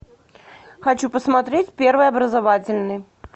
хочу посмотреть первый образовательный